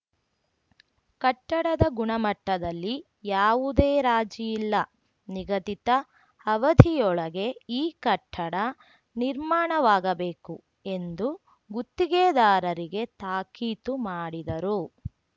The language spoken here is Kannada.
ಕಟ್ಟಡದ ಗುಣಮಟ್ಟದಲ್ಲಿ ಯಾವುದೇ ರಾಜಿಯಿಲ್ಲ ನಿಗದಿತ ಅವಧಿಯೊಳಗೆ ಈ ಕಟ್ಟಡ ನಿರ್ಮಾಣವಾಗಬೇಕು ಎಂದು ಗುತ್ತಿಗೆದಾರರಿಗೆ ತಾಕೀತು ಮಾಡಿದರು